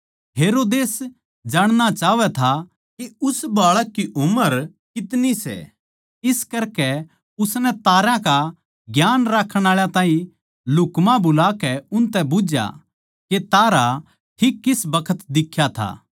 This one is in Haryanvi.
हेरोदेस जाणणा चाहवै था के उस बाळक की उम्र कितनी सै इस करकै उसनै तारां का ज्ञान राक्खण आळा ताहीं लुह्क्मा बुलाकै उनतै बुझ्झया के तारा ठीक किस बखत दिख्या था